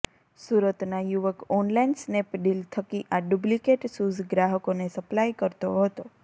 સુરતના યુવક online Snapdeal થકી આ ડુપ્લીકેટ શુઝ ગ્રાહકોને સપ્લાય કરતો હતો